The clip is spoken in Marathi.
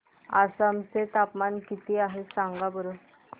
आसाम चे तापमान किती आहे सांगा बरं